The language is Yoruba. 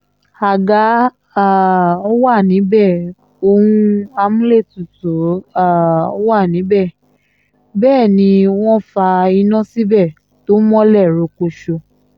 àga um wà níbẹ̀ ohun amúlétutù um wa níbẹ̀ bẹ́ẹ̀ ni wọ́n fa iná síbẹ̀ tó mọ́lẹ̀ rokoṣo